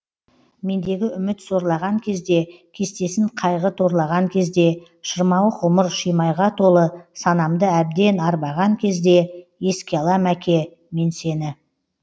мендегі үміт сорлаған кезде кестесін қайғы торлаған кезде шырмауық ғұмыр шимайға толы санамды әбден арбаған кезде еске алам әке мен сені